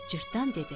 Cırtdan dedi: